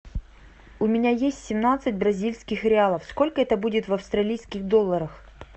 у меня есть семнадцать бразильских реалов сколько это будет в австралийских долларах